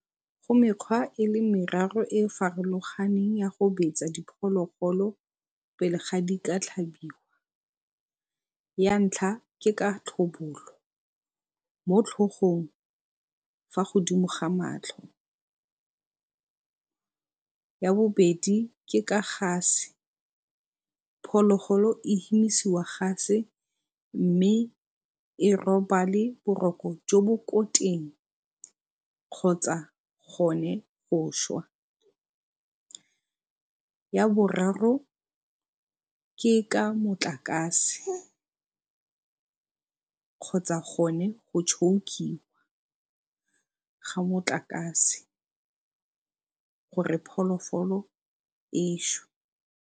Go mekgwa e le meraro e farologaneng ya go betsa diphologolo pele ga di ka tlhabiwa. Ya ntlha ke ka tlhobolo mo tlhogong fa godimo ga madi ga matlho. Ya bobedi ke ka gase, phologolo e hemisiwa gase mme e robale boroko jo bo ko teng kgotsa gone go swa. Ya boraro ke ka motlakase kgotsa gone go tšhoukiwa ka motlakase gore phologolo e swe.